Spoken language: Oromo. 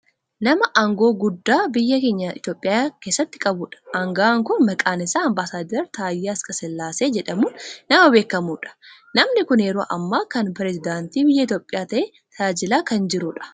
Nama aangoo guddaa biyya keenya biyya Itoopiyaa keessatti qabudha. Anga'aan kun maqaan isaa ambassadara Taayyee Asqasillaasee jedhamuun nama beekkamudha. Namni kun yeroo ammaa kana peresedaantii biyya Itoophiyaa ta'ee tajaajilaa kan jirudha.